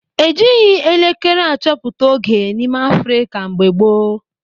E jighị elekere achọpụta oge n'ime Afrịka mgbe gboo.